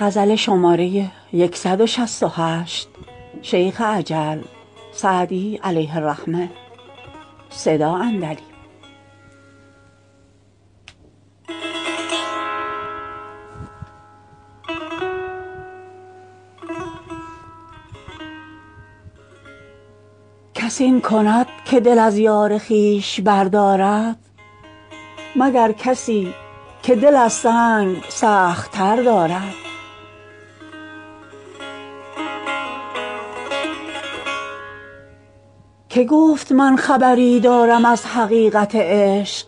کس این کند که دل از یار خویش بردارد مگر کسی که دل از سنگ سخت تر دارد که گفت من خبری دارم از حقیقت عشق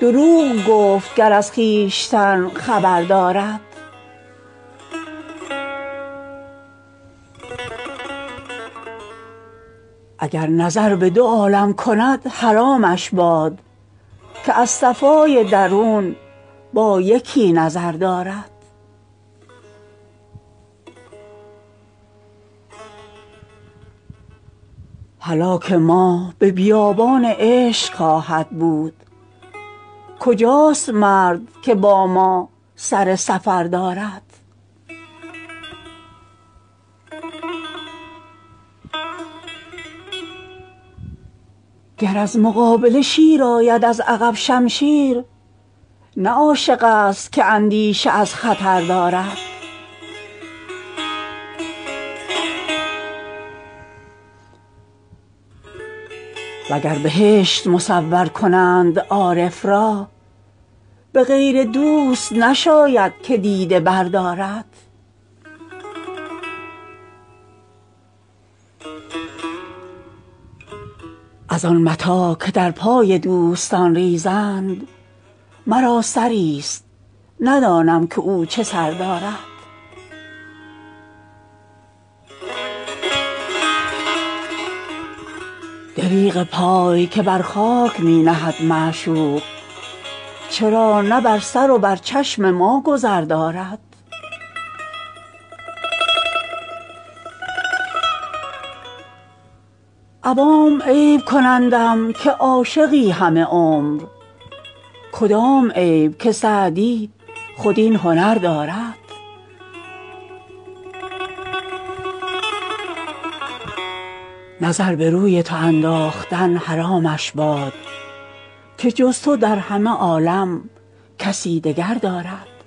دروغ گفت گر از خویشتن خبر دارد اگر نظر به دو عالم کند حرامش باد که از صفای درون با یکی نظر دارد هلاک ما به بیابان عشق خواهد بود کجاست مرد که با ما سر سفر دارد گر از مقابله شیر آید از عقب شمشیر نه عاشق ست که اندیشه از خطر دارد و گر بهشت مصور کنند عارف را به غیر دوست نشاید که دیده بردارد از آن متاع که در پای دوستان ریزند مرا سری ست ندانم که او چه سر دارد دریغ پای که بر خاک می نهد معشوق چرا نه بر سر و بر چشم ما گذر دارد عوام عیب کنندم که عاشقی همه عمر کدام عیب که سعدی خود این هنر دارد نظر به روی تو انداختن حرامش باد که جز تو در همه عالم کسی دگر دارد